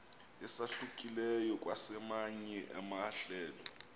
esahlukileyo kwezamanye amahlelo